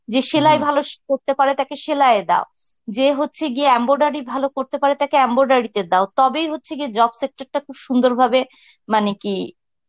যে সেলাই ভালো সি~ করতে পারে তাকে সেলায়ে দাও, যে হচ্ছে গিয়ে embroidery করতে পারে তাকে embroidery তে দাও তবেই হচ্ছে গিয়ে job sector টা খুব সুন্দরভাবে মানে কি